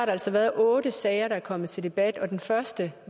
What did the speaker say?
altså været otte sager der er kommet til debat og den første